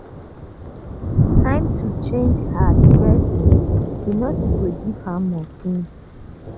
time to um change her um dressings di nurses go give her morphine